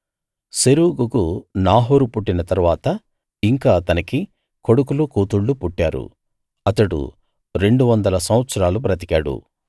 సెరూగుకు నాహోరు పుట్టిన తరువాత ఇంకా అతనికి కొడుకులు కూతుళ్ళు పుట్టారు అతడు రెండువందల సంవత్సరాలు బతికాడు